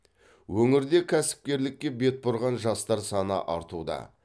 өңірде кәсіпкерлікке бет бұрған жастар саны артуда